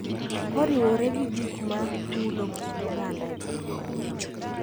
Koriwore gi gik ma mulo kit oganda e piny mangima.